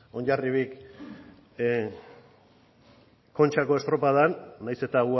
hondarribiak kontxako estropadan nahiz eta